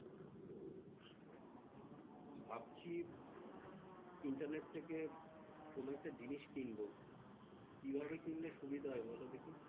ভাবছি internet থেকে কোন একটা জিনিস কিনব। কিভাবে কিনলে সুবিধা হয় বলো দেখি?